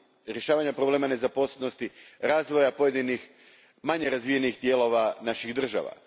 rješavanja problema nezaposlenosti, razvoja pojedinih manje razvijenih dijelova naših država.